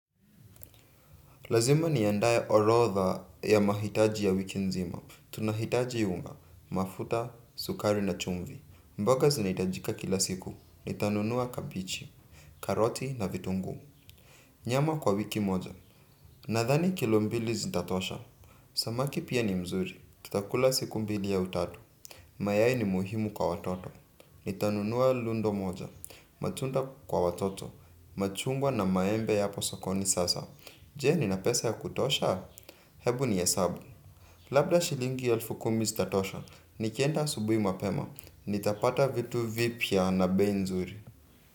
Lazima niandae orodha ya mahitaji ya wiki nzima. Tunahitaji unga, mafuta, sukari na chumvi. Mboga zinahitajika kila siku. Nitanunua kabichi, karoti na vitunguu. Nyama kwa wiki moja. Nadhani kilo mbili zitatosha. Samaki pia ni mzuri. Tutakula siku mbili au tatu. Mayai ni muhimu kwa watoto. Nitanunua lundo moja. Matunda kwa watoto. Machungwa na maembe yapo sokoni sasa. Je nina pesa ya kutosha? Hebu nihesabu labda shilingi elfu kumi zitatosha nikienda asubuhi mapema nitapata vitu vipya na bei nzuri.